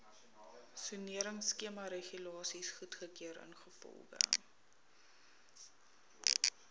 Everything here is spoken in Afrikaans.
soneringskemaregulasies goedgekeur ingevolge